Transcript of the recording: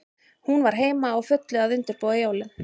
Hún var heima, á fullu að undirbúa jólin.